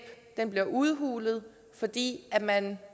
bliver udhulet fordi man